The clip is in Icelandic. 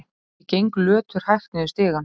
Ég geng löturhægt niður stigann.